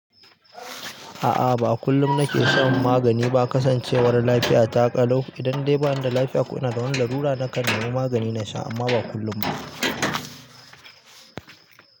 A'a, ba kullum nake shan magani ba. Kasancewar lafiya taƙalo. Idan dai bani da lafiya ko ina da wani larura, nakan nemi magani na sha amma ba kullum ba.